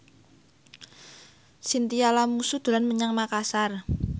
Chintya Lamusu dolan menyang Makasar